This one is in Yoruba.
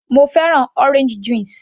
Mo fẹ́ràn orange juice